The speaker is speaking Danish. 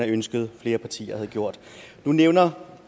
ønsket at flere partier havde gjort nu nævner